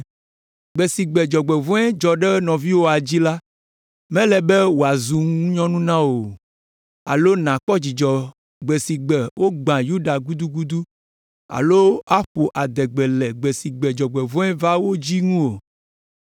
Gbe si gbe dzɔgbevɔ̃e dzɔ ɖe nɔviwòa dzi la, mele be wòazu ŋunyɔnu na wò o alo nàkpɔ dzidzɔ gbe si gbe wogbã Yuda gudugudu alo aƒo adegbe le gbe si gbe dzɔgbevɔ̃e va wo dzi ŋu o.